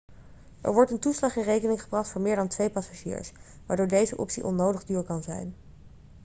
er wordt een toeslag in rekening gebracht voor meer dan 2 passagiers waardoor deze optie onnodig duur kan zijn